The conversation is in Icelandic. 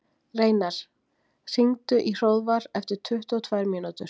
Reynar, hringdu í Hróðvar eftir tuttugu og tvær mínútur.